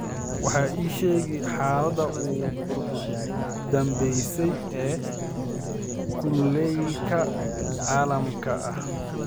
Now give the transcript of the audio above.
wax iiga sheeg xaaladdii u dambaysay ee kulaylka caalamiga ah